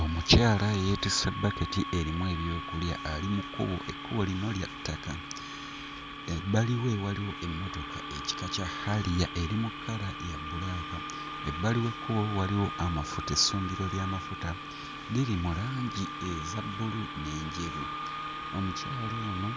Omukyala yeetisse bbaketi erimu ebyokulya ali mu kkubo ekkubo lino lya ttaka. Ebbali we waliwo emmotoka ekika kya harrier eri mu kkala ya bbulaaka. Ebbali w'ekkubo waliwo amafuta essundiro ly'amafuta liri mu langi eza bbulu n'enjeru. Omukyala ono